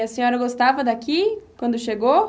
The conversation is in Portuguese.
E a senhora gostava daqui quando chegou?